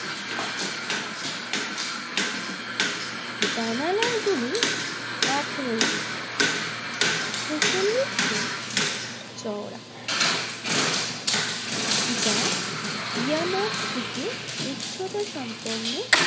জানালাগুলি আঠারো ইঞ্চি ছেচল্লিশ সেমি চওড়া যা ইয়ামারসিকে উচ্চতা সমপর্ণে।